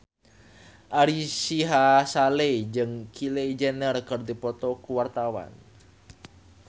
Ari Sihasale jeung Kylie Jenner keur dipoto ku wartawan